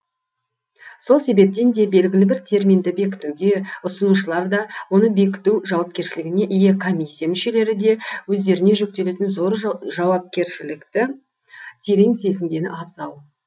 сол себептен де белгілі бір терминді бекітуге ұсынушылар да оны бекіту жауапкершілігіне ие комиссия мүшелері де өздеріне жүктелетін зор жауапкершілікті терең сезінгені абзал